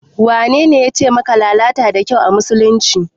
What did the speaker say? Wanene yace maka lalata da kyau a musulunci?